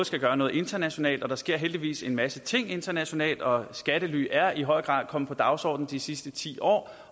skal gøre noget internationalt og der sker heldigvis en masse ting internationalt og skattely er i høj grad kommet på dagsordenen de sidste ti år